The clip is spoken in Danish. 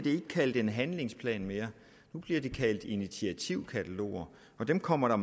kaldt en handlingsplan mere nu bliver det kaldt initiativkataloger og dem kommer der